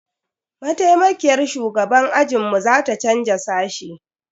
Maitaimakiyar shugaban ajinmu za ta canza sashe.